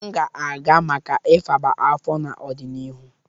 M ga-aga maka ifaba afọ n'ọdịnihu.